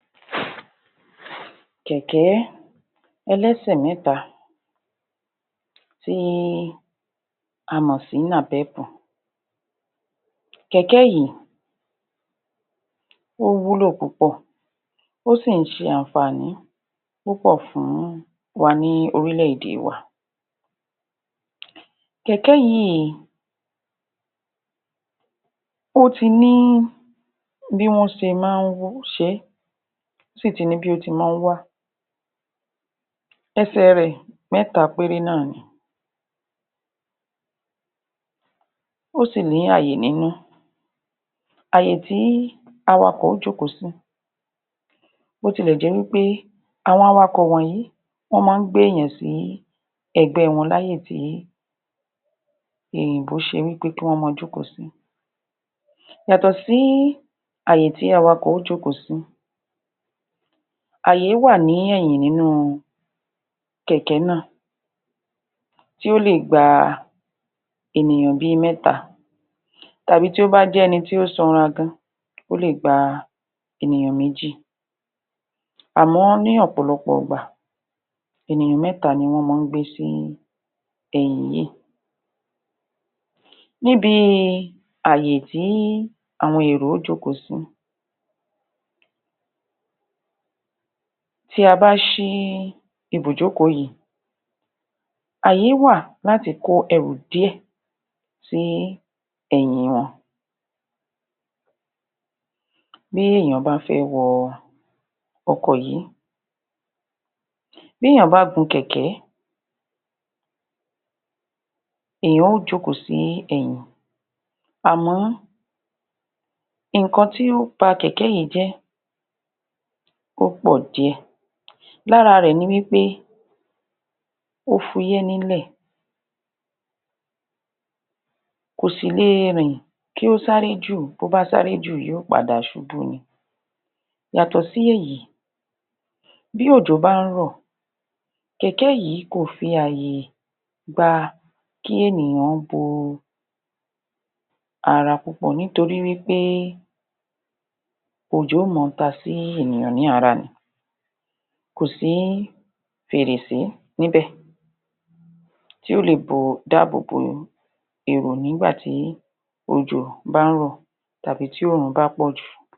Kẹ̀kẹ́ ẹlẹ̀sè mẹ́ta tí a mọ̀sí Nàpẹ́ẹ̀pù kẹ̀kẹ́ yìí, ó wúlò púpọ̀ ó sì ń ṣe àǹfààní púpọ̀ fún wa ní orílẹ̀ èdè wa kẹ̀kẹ́ yìí ó ti ní bí wọ́n ṣe má ń ṣe é ó sì ti ní bí ó ti máa ń wá ẹsẹ̀ẹ rẹ̀ mẹ́ta péré náàni ó sì ní ààyè nínú ààyè tí awa'kọ̀ ó jókòó sí b'otilẹ̀ jẹ́ wí pé àwọn awa'kọ̀ wọ̀nyí wọ́n máa ń gbé-èyàn sí ẹ̀gbẹ́ẹ wọn láyè tí èyìnbó ṣe wí pé kí wọ́n máa jókòó sí yàtọ̀ sí ààyè tí awa'kọ̀ ó jókòó sí ààyé wà ní ẹ̀yìn nínú kẹ̀kẹ́ náà tí ó lè gba ènìyàn bíi mẹ́ta tàbí tí ó bá jẹ́ ẹni tí ó sanra gan, ó lè gba ènìyàn méjì àmọ́ ní ọ̀pọ̀lọpọ̀-ọ̀gbà ènìyàn mẹ́ta ni wọ́n mọ́ ń gbé sí ẹ̀yìn yìí níbi ààyè tí àwọn èrò ó jókòó sí tí a bá ṣí ibùjókòó yìí àyé wà láti kó ẹrù díẹ̀ sí ẹ̀yìn wọn. Bí èèyàn bá fẹ́ wọ ọkọ̀ yí bí èèyàn bá gun kẹ̀kẹ́ èèyàn ó jókòó sí ẹ̀yìn àmọ́ nǹkan tí ó ba kẹ̀kẹ́ yẹn jẹ́ ó pọ̀ díẹ̀ lára rẹ̀ ni wí pé ó fúyẹ́ nílẹ̀ kò sì le rìn kí ó sáré jù bó bá sáré jù yó padà ṣubú ni yàtọ̀ sí èyí bí òjò bá ń rọ̀ kẹ̀kẹ́ yìí kò fi ààyè gba kí ènìyan ó bo ara pupọ̀ nítorí wí pé òjò ó mọ ta sí ènìyan ní lára ni kò sí fèrèsé níbẹ̀ tí ó lè bo, dá'àbò boni èèyàn nígbà tí òjò bá ń rọ̀ tàbí tí òòrùn bá pọ̀jù